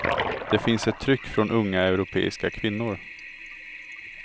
Det finns ett tryck från unga europeiska kvinnor.